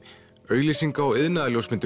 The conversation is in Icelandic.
auglýsinga og